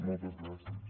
moltes gràcies